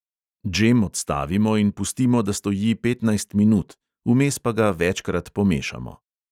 Džem odstavimo in pustimo, da stoji petnajst minut, vmes pa ga večkrat pomešamo.